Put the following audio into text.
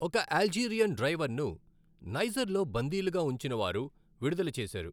ఒక అల్జీరియన్ డ్రైవర్ను నైజర్లో బందీలుగా ఉంచినవారు విడుదల చేశారు.